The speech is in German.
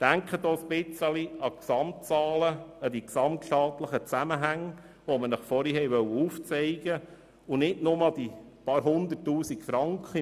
Denken Sie auch an die Zahlen und Gesamtzusammenhänge, die ich Ihnen zuvor aufgezeigt habe, und nicht nur an die paar Hunderttausend Franken.